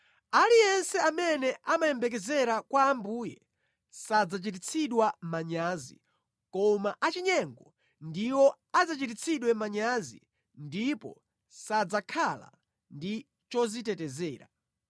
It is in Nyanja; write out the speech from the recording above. Aliyense amene amayembekezera kwa Ambuye sadzachititsidwa manyazi koma achinyengo ndiwo adzachititsidwe manyazi ndipo sadzakhala ndi chodzitetezera.